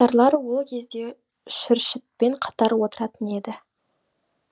татарлар ол кезде шүршітпен қатар отыратын еді